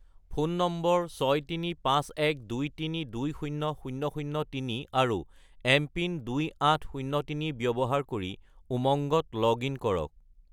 Phone নম্বৰ 63512320003 আৰু MPIN 2803 ব্যৱহাৰ কৰি উমংগত লগ-ইন কৰক।